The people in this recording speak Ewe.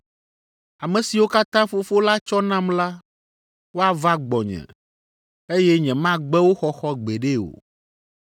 Ame siwo katã Fofo la tsɔ nam la, woava gbɔnye, eye nyemagbe wo xɔxɔ gbeɖe o.